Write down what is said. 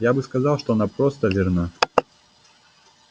я бы сказал что она просто верна